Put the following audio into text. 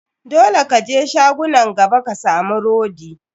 Dole ka je shagunan gaba ka samu rodi.